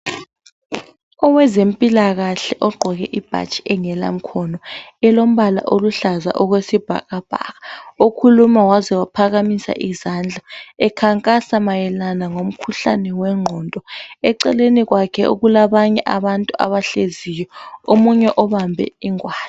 Owezempilakahle ogqoke ibhatshi engelamkhono elombala oluhlaza okwesibhakabhaka okhuluma waze waphakamisa isandla ekhankasa mayelana lomkhuhlane wengqondo eceleni kwakhe kulabanye abantu abahleziyo omunye obambe ingwane.